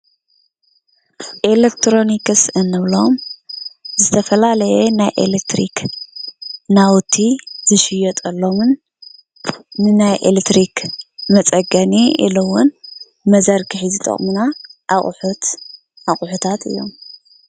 ኤሌክትሮኒክስ እንብሎም ዝተፈላለየ ናይ ኤሌክትሪክ ናውቲ ዝሽየጠሎምን ንናይ ኤሌክትሪክ መፀገኒ ኢሉ ውን መዘርግሒ ዝጠቕሙና ኣቑሑት ኣቑሑታት እዮም፡፡